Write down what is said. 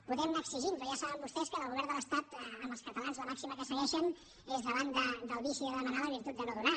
podem anar exigint però ja saben vostès que el govern de l’estat amb els catalans la màxima que segueix és davant del vici de demanar la virtut de no donar